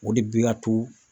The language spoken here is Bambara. O de bɛ ka to